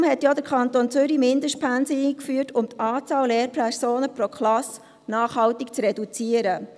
Deshalb hat ja der Kanton Zürich Mindestpensen eingeführt – um die Anzahl Lehrpersonen pro Klasse nachhaltig zu reduzieren.